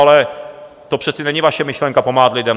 Ale to přece není vaše myšlenka, pomáhat lidem.